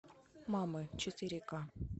мамы четыре ка